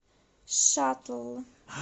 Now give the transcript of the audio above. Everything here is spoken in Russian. шаттл